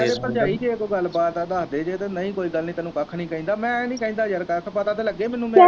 ਕਹਿ ਦੇ ਭਰਜਾਈ ਜੇ ਕੋਈ ਗੱਲ ਬਾਤ ਆ ਦਸਦੇ ਜੇ ਤੇ ਨਹੀਂ ਕੋਈ ਗੱਲ ਨਹੀਂ ਤੈਨੂੰ ਕੱਖ ਨਹੀਂ ਕਹਿੰਦਾ ਮੈ ਨਹੀਂ ਕਹਿੰਦਾ ਯਾਰ ਕੱਖ ਪਤਾ ਤੇ ਲੱਗੇ ਮੈਨੂੰ